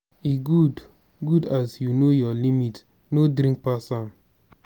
e good good as you know your limit no drink pass am.